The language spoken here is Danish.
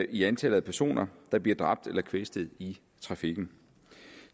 i antallet af personer der bliver dræbt eller kvæstet i trafikken